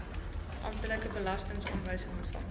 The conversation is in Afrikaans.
amptelike belastingaanwysing ontvang